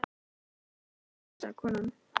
Já, þetta er kötturinn minn sagði konan.